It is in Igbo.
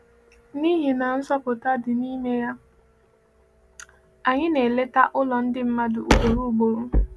N’ihi na nzọpụta dị n’ime ya, anyị na-eleta ụlọ ndị mmadụ ugboro ugboro.